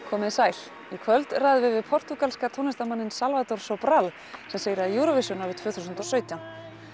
komið þið sæl í kvöld ræðum við við portúgalska tónlistarmanninn Salvador Sobral sem sigraði Júróvisjón árið tvö þúsund og sautján